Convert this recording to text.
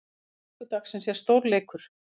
Lokaleikur dagsins er stórleikur.